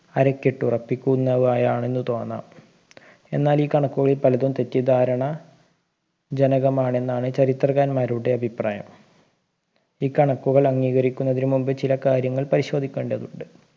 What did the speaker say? അരക്കിട്ടുറപ്പിക്കുന്നവയാണെന്ന് തോന്നാം എന്നാൽ ഈ കണക്കുകളിൽ പലതും തെറ്റിദ്ധാരണ ജനകമാണെന്നാണ് ചരിത്രകാന്മാരുടെ അഭിപ്രായം ഈ കണക്കുകൾ അംഗീകരിക്കുന്നതിന് മുമ്പ് ചില കാര്യങ്ങൾ പരിശോധിക്കേണ്ടതുണ്ട്